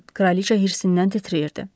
Kraliçə hirsindən titrəyirdi.